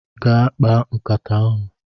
gaa kpaa nkata ahu